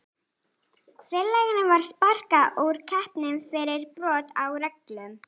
Félaginu var sparkað úr keppninni fyrir brot á reglum.